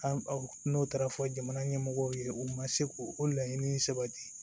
An n'o taara fɔ jamana ɲɛmɔgɔw ye u ma se k'o laɲini sabati